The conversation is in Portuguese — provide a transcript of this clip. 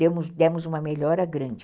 Demos demos uma melhora grande.